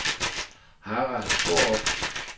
Harald Skaarup